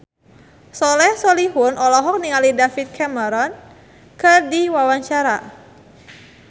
Soleh Solihun olohok ningali David Cameron keur diwawancara